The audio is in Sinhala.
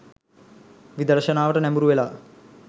විදර්ශනාවට නැඹුරුවෙලා